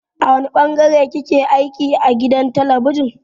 A wane ɓangare kike aiki a gidan talabijin.